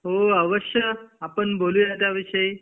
हो अवश्य आपण बोलूया त्या विषयी